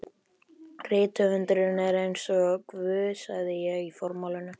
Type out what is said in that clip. Rithöfundurinn er eins og Guð sagði ég í formálanum.